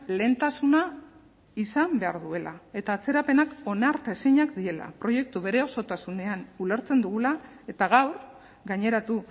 lehentasuna izan behar duela eta atzerapenak onartezinak direla proiektua bere osotasunean ulertzen dugula eta gaur gaineratu